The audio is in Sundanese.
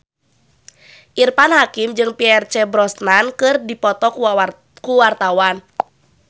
Irfan Hakim jeung Pierce Brosnan keur dipoto ku wartawan